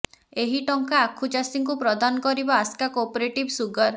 ଏହି ଟଙ୍କା ଆଖୁ ଚାଷୀଙ୍କୁ ପ୍ରଦାନ କରିବ ଆସ୍କା କୋପରେଟିଭ୍ ସୁଗାର